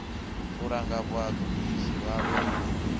u langa vhagudisi vhavho ri